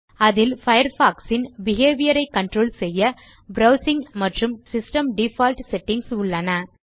அதில் பயர்ஃபாக்ஸ் இன் பிஹேவியர் ஐ கன்ட்ரோல் செய்ய ப்ரவ்சிங் மற்றும் சிஸ்டம் டிஃபால்ட் செட்டிங்ஸ் உள்ளன